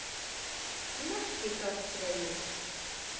Merkigarðsvegi